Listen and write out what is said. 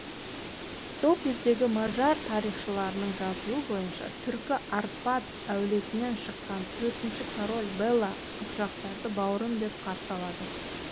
сол кездегі мажар тарихшыларының жазуы бойынша түркі арпад әулетінен шыққан төртінші король бэла қыпшақтарды бауырым деп қарсы алады